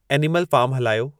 animal फार्मु हलायो